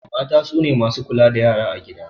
Mata sune masu kula da yara a gida